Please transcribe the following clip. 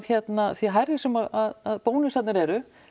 því hærri sem að bónusarnir eru